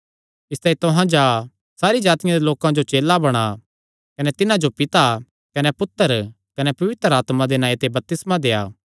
इसतांई तुहां जा सारी जातिआं दे लोकां जो चेला बणा कने तिन्हां जो पिता कने पुत्तर कने पवित्र आत्मा दे नांऐ ते बपतिस्मा देआ